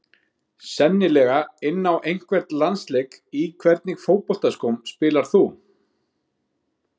Sennilega inn á einhvern landsleik Í hvernig fótboltaskóm spilar þú?